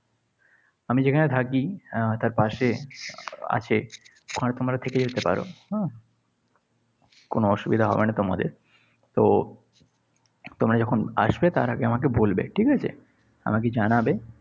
আমি যেখানে থাকি আহ তার পাশে আছে। ওখানে তোমরা থেকে যেতে পার। হম কোনো অসুবিধা হবে না তোমাদের। তো তোমরা যখন আসবে তার আগে আমাকে বলবে। ঠিক আছে? আমাকে জানাবে।